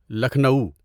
Lucknow